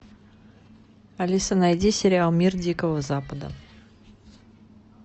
алиса найди сериал мир дикого запада